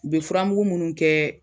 U be furamugu munnu kɛ